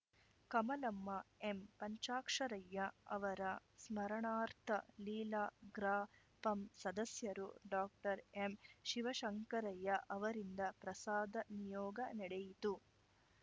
ಕಮಲಮ್ಮ ಎಂಪಂಚಾಕ್ಷರಯ್ಯ ಅವರ ಸ್ಮರಣಾರ್ಥ ಲೀಲಾ ಗ್ರಾಪಂ ಸದಸ್ಯರು ಡಾಕ್ಟರ್ ಎಂಶಿವಶಂಕರಯ್ಯ ಅವರಿಂದ ಪ್ರಸಾದ ನಿಯೋಗ ನಡೆಯಿತು